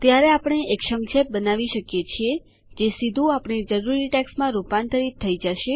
ત્યારે આપણે એક સંક્ષેપ બનાવી શકીએ છીએ જે સીધું આપણી જરૂરી ટેક્સ્ટમાં રૂપાંતરિત થઇ જાય